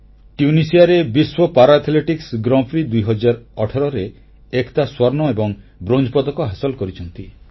ଟ୍ୟୁନିସିଆରେ ବିଶ୍ୱ para athletics grand prix 2018 ରେ ଏକତା ସ୍ୱର୍ଣ୍ଣ ଏବଂ ବ୍ରୋଞ୍ଜ ପଦକ ହାସଲ କରିଛନ୍ତି